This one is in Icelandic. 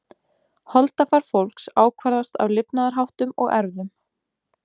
Holdafar fólks ákvarðast af lifnaðarháttum og erfðum.